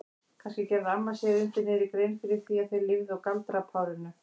Kannski gerði amma sér undir niðri grein fyrir því að þau lifðu á galdrapárinu?